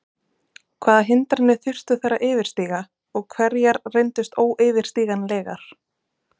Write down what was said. Hvaða hindranir þurftu þær að yfirstíga og hverjar reyndust óyfirstíganlegar?